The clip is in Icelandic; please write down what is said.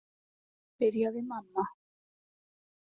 , byrjaði mamma.